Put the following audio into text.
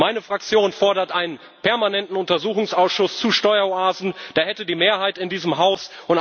Meine Fraktion fordert einen permanenten Untersuchungsausschuss zu Steueroasen, der hätte die Mehrheit in diesem